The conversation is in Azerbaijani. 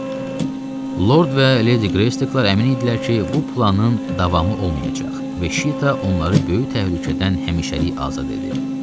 Lord və Leydi Greystaklar əmin idilər ki, bu planın davamı olmayacaq və Şeyta onları böyük təhlükədən həmişəlik azad edib.